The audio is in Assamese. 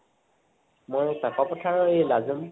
মই কাকʼপথাৰৰ এই লাজোন